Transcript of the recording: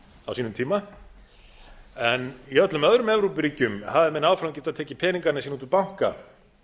á sínum tíma en í öllum öðrum evrópuríkjum hafa menn áfram getað tekið peningana sína út úr banka